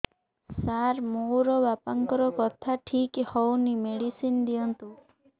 ସାର ମୋର ବାପାଙ୍କର କଥା ଠିକ ହଉନି ମେଡିସିନ ଦିଅନ୍ତୁ